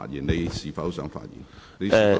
你是否想再次發言？